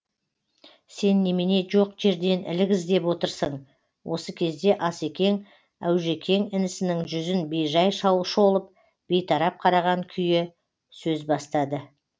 сен немене жоқ жерден ілік іздеп отырсың осы кезде ас екең әужекең інісінің жүзін бейжай шолып бейтарап қараған күйі сөз бастады